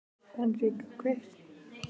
Henrik, kveiktu á sjónvarpinu.